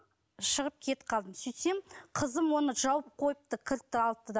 шығып кетіп қалдым сөйтсем қызым оны жауып қойыпты кілтті алыпты да